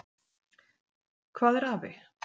Hvað er afi?